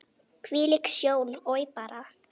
Hvílík sjón, oj bara!